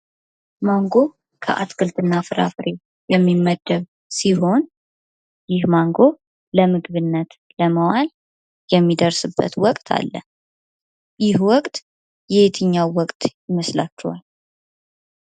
ማንጎ ከአትክልትና ፍራፍሬ የሚመደብ ሲሆን ይህ ማንጎ ለምግብነት ለማዋል የሚደርስበት ወቅት አለ። ይህ ወቅት የትኛው ወቅት ይመስላቺኋል?